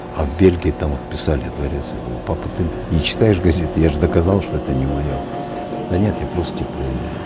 а в бельгии там вот писали дворец я говорю папа ты не читаешь газет я же доказал что это не мое да нет я просто тебя проверяю